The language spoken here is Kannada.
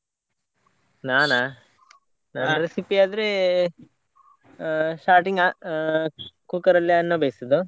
ನಾನಾ? ಆದ್ರೆ ಆ starting ಆ cooker ಅಲ್ಲಿ ಅನ್ನ ಬೇಯಿಸುದು.